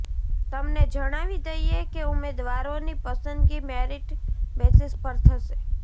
તમને જણાવી દઈએ કે ઉમેદવારોની પસંદગી મેરિટ બેસિસ પર થશે